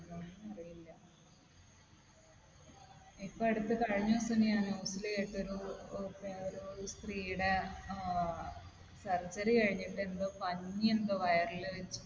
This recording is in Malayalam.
ഇപ്പൊ അടുത്ത് കഴിഞ്ഞ ദിവസം ഞാൻ news ൽ കേട്ടൊരു ഒരുഒരു സ്ത്രീയുടെ ഏർ surgery കഴിഞ്ഞിട്ട് എന്തോ പഞ്ഞി എന്തോ വയറിൽ വെച്ച്